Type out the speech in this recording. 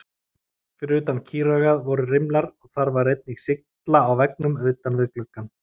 Fyrir utan kýraugað voru rimlar og þar var einnig sylla á veggnum utan við gluggann.